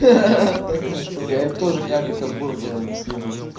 ха ха такая же хуйня я бы тоже крабика с бургером бы съел